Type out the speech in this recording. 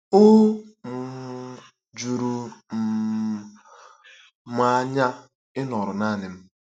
O um juru um m anya ịnọrọ naanị m. ”